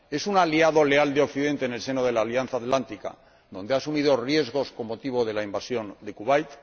es un aliado leal de Occidente en el seno de la Alianza Atlántica, donde asumió riesgos con motivo de la invasión de Kuwait